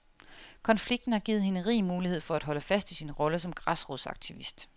Konflikten har givet hende rig mulighed for at holde fast i sin rolle som græsrodsaktivist.